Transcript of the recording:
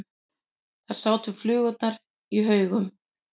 Þar sátu flugurnar í haugum.